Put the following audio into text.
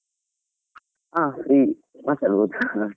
ಹಾ free ಮಾತಾಡಬೋದು .